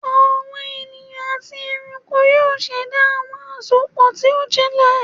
Awọn eniyan ati ẹranko yoo ṣẹda awọn asopọ ti o jinlẹ